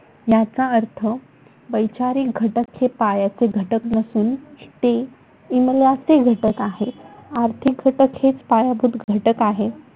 याचा अर्थ वैचारिक घटक हे पायाचे घटक नसून ते इमल्याचे घटक आहेत. आर्थिक घटक हेच पायाभूत घटक आहेत.